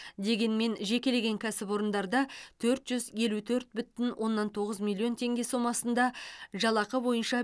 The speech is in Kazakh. дегенмен жекелеген кәсіпорындарда төрт жүз елу төрт бүтін оннан тоғыз миллион теңге сомасында жалақы бойынша